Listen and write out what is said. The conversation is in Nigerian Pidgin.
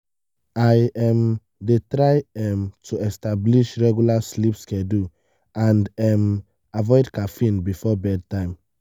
i um dey try um to establish regular sleep schedule and um avoid caffeine before bedtime.